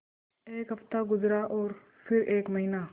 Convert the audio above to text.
एक हफ़्ता गुज़रा और फिर एक महीना